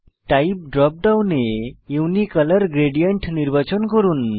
type drop ডাউনে unicolour gradient নির্বাচন করুন